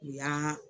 U y'an